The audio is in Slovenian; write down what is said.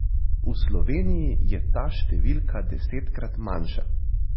V Sloveniji je ta številka desetkrat manjša.